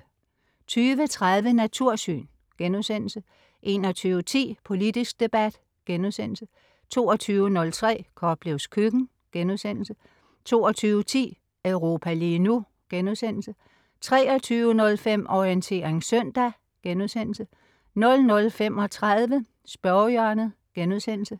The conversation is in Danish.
20.30 Natursyn* 21.10 Politisk debat* 22.03 Koplevs køkken* 22.10 Europa lige nu* 23.05 Orientering søndag* 00.35 Spørgehjørnet*